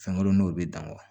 Fɛn kelen n'o bɛ dan